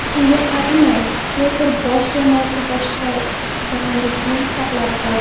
Shunga qaramay, Peter Bosh jamoasi peshqadamlikni saqlab qoldi.